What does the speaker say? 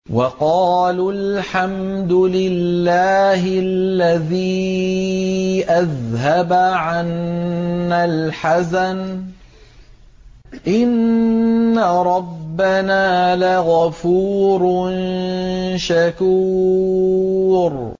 وَقَالُوا الْحَمْدُ لِلَّهِ الَّذِي أَذْهَبَ عَنَّا الْحَزَنَ ۖ إِنَّ رَبَّنَا لَغَفُورٌ شَكُورٌ